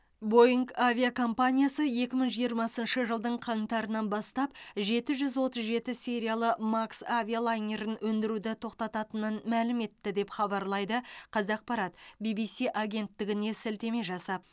бойңг авиакомпаниясы екі мың жиырмасыншы жылдың қаңтарынан бастап жеті жүз отыз жеті сериялы макс авиалайнерін өндіруді тоқтататынын мәлім етті деп хабарлайды қазақпарат бибиси агенттігіне сілтеме жасап